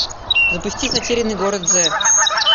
запусти затерянный город зет